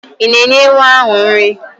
Ị̀ na-enye ewu ahụ nri?